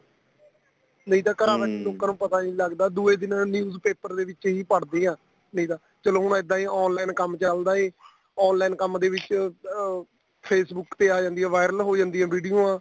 ਨੀਂ ਤਾਂ ਲੋਕਾ ਨੂੰ ਪਤਾ ਨੀਂ ਲੱਗਦਾ ਦੂਜੇ ਦਿਨ news paper ਦੇ ਵਿੱਚ ਹੀ ਪੜ੍ਹਦੇ ਆ ਇਹਦਾ ਚਲੋ ਹੁਣ ਇੱਦਾਂ ਏ online ਕੰਮ ਚੱਲਦਾ ਏ online ਕੰਮ ਦੇ ਵਿੱਚ ਅਹ Facebook ਤੇ ਆ ਜਾਂਦੀ ਏ viral ਹੋ ਜਾਂਦੀ ਏ ਵਿਡੀਉਆਂ